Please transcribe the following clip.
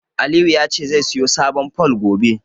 Aliyu ya ce zai siyo sabon fol, gobe.